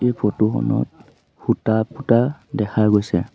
এই ফটো খনত খুঁটা পোঁতা দেখা গৈছে।